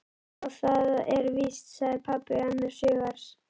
Já, það er víst sagði pabbi annars hugar.